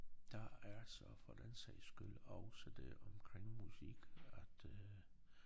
Der er så for den sags skyld også det omkring musik at øh